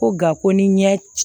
Ko nka ko ni ɲɛ c